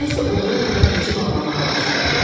Nensi o biri otağa keçib ağlamağa başladı.